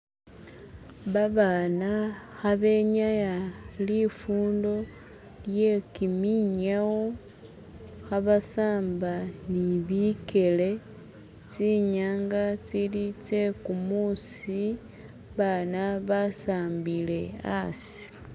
Babana kha benyaya lifundo lye kiminyawo khabasamba ni bikele tsinyanga tsili tsekumuusi abana basambile hasi